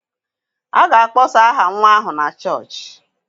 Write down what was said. A ga-akpọsa aha nwa ahụ na chọọchị